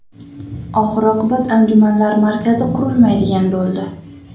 Oxir-oqibat anjumanlar markazi qurilmaydigan bo‘ldi.